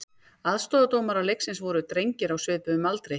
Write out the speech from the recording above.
Aðstoðardómarar leiksins voru drengir á svipuðum aldri.